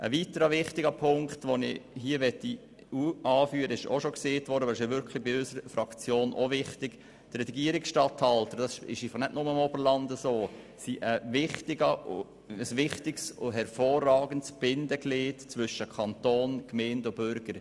Ein weiterer wichtiger Punkt, den ich hier anführen möchte, betrifft die Regierungsstatthalter als wichtiges und hervorragendes Bindeglied zwischen Kanton, Gemeinden und Bürgern.